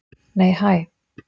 Nei, hæ!